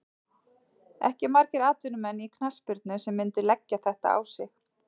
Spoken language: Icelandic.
Ekki margir atvinnumenn í knattspyrnu sem myndu leggja þetta á sig.